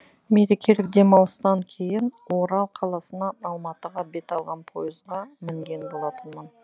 мерекелік демалыстан кейін орал қаласынан алматыға бет алған пойызға мінген болатынмын